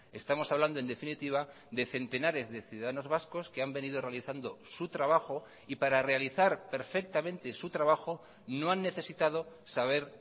estamos hablando en definitiva de centenares de ciudadanos vascos que han venido realizando su trabajo y para realizar perfectamente su trabajo no han necesitado saber